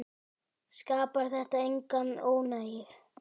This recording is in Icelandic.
Skapar þetta enga óánægju?